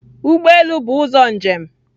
Ụgbọ elu bụ ụzọ njem